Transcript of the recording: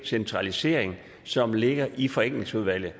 centralisering som ligger i forenklingsudvalgets